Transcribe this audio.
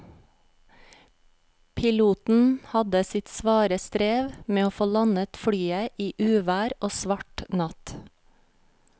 Piloten hadde sitt svare strev med å få landet flyet i uvær og svart natt.